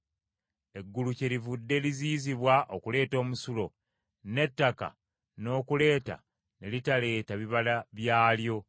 Eggulu kyerivudde liziyizibwa okuleeta omusulo, n’ettaka n’okuleeta ne litaleeta bibala byalyo.